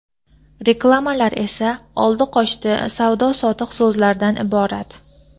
Reklamalar esa… oldi-qochdi, savdo-sotiq so‘zlardan iborat.